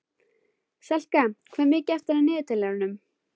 Selka, hvað er mikið eftir af niðurteljaranum?